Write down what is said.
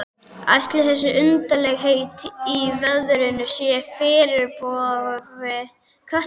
Ætli þessi undarlegheit í veðrinu séu fyrirboði Kötlugoss?